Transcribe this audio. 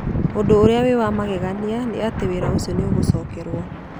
Ũndũ ũrĩa wa magegania nĩ atĩ wĩra ũcio nĩ ũgũcokerwo